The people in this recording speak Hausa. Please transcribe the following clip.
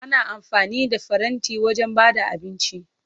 Ana amfani da faranti wajen ba da abinci.